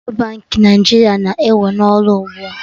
Central Baankị Naijiria na-ewe n'ọrụ ugbua